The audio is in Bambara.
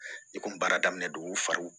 I kun baara daminɛ dugu fari